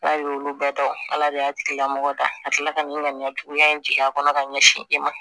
N'a y'olu bɛɛ dɔn ala de y'a tigilamɔgɔ dala ka nin ŋaniya juguya in jigin a kɔnɔ ka ɲɛsin e ma